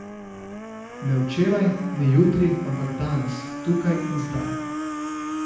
Ne včeraj, ne jutri, ampak danes, tukaj in zdaj.